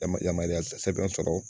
Yama yamaruya sɛbɛn sɔrɔ